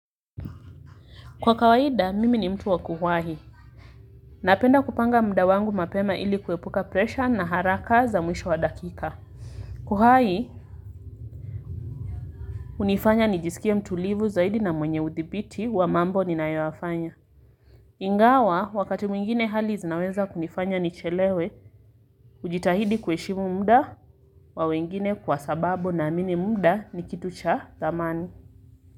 Kwa kawaida, mimi ni mtu wa kuwahi. Napenda kupanga muda wangu mapema ili kuepuka presha na haraka za mwisho wa dakika. Kuwahi, hunifanya nijisikie mtulivu zaidi na mwenye uthibiti wa mambo ninayoyafanya. Ingawa, wakati mwingine hali zinaweza kunifanya nichelewe, hujitahidi kuheshimu muda, wa wengine kwa sababu naamini muda ni kitu cha thamani.